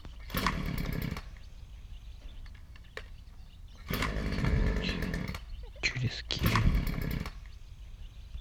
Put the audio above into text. кинуть через киви